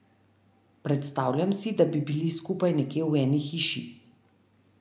Predstavljam si, da bi bili skupaj nekje v eni hiši.